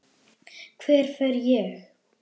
Hver fer ég?